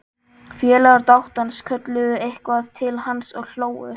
Félagar dátans kölluðu eitthvað til hans og hlógu.